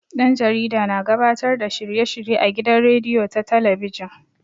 Ɗan jarida na gabatar da shirye-shirye a gidan rediyo ko talabijin.